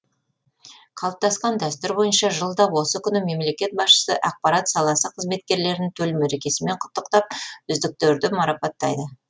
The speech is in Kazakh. қалыптасқан дәстүр бойынша жылда осы күні мемлекет басшысы ақпарат саласы қызметкерлерін төл мерекесімен құттықтап үздіктерді марапаттайды